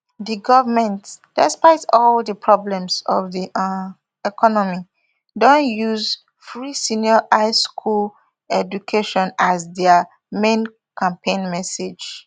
di goment despite all di problems of di um economy don use free senior high school education as as dia main campaign message